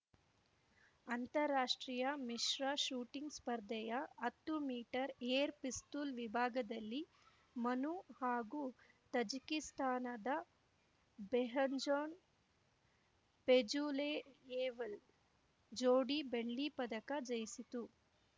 ಅಂತಾರಾಷ್ಟ್ರೀಯ ಮಿಶ್ರ ಶೂಟಿಂಗ್‌ ಸ್ಪರ್ಧೆಯ ಹತ್ತು ಮೀಟರ್ ಏರ್‌ ಪಿಸ್ತೂಲ್‌ ವಿಭಾಗದಲ್ಲಿ ಮನು ಹಾಗೂ ತಜಿಕಿಸ್ತಾನದ ಬೆಹ್ಜಾನ್‌ ಫೇಜುಲೆಯೆವ್‌ ಜೋಡಿ ಬೆಳ್ಳಿ ಪದಕ ಜಯಿಸಿತು